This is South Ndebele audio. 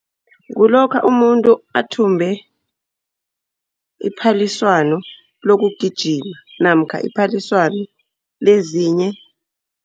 Kulokha umuntu athumbe iphaliswano lokugijima namkha iphaliswano lezinye.